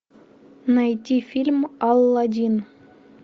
найти фильм аладдин